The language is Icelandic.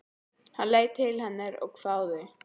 Hann leit til hennar og hváði.